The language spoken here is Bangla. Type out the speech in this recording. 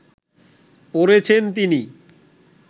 পড়েছেন তিনি